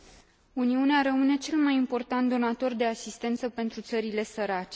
Uniunea rămâne cel mai important donator de asistență pentru țările sărace.